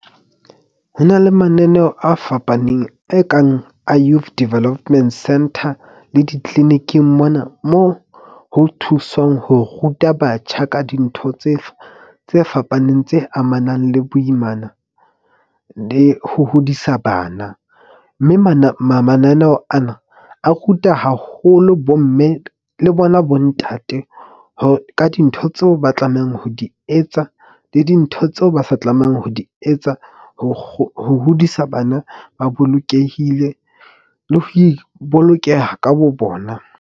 Ho na le mananeo a fapaneng e kang a Youth Development Center le di-clinic-ing mona mo ho thuswang ho ruta batjha ka dintho tse fapaneng. Tse amanang le boimana le ho hodisa bana, mme mananeo ana a ruta haholo bomme le bona bo ntate. Ho ka dintho tseo ba tlamehang ho di etsa le dintho tseo ba sa tlamehang ho di etsa, ho hodisa bana ba bolokehile le ho ibolokeha ka bo bona.